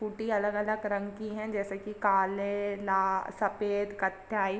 Scooty अलग-अलग रंग की हैं जैसे कि काले ला सफेद कथई।